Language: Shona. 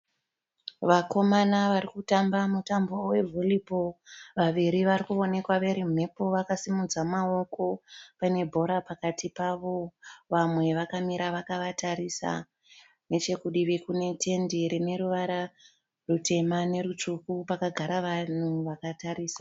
Vakaoma varikutamba mutambo vevhuribhoo. Vaviri varikuonekwa verimumhepo vakasimudza maoko vane bhora pakati pavo. Vamwe vakamira vakavatarisa . Nechekudivi kune tende rineruvara rutema nerutsvuku pakagara vanhu vakatarisa.